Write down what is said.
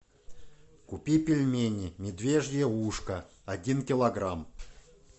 купи пельмени медвежье ушко один килограмм